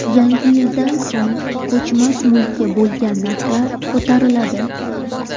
Yangi yildan so‘ng ko‘chmas mulkka bo‘lgan narxlar ko‘tariladi.